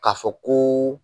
K'a fɔ ko